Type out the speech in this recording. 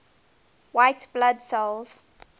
white blood cells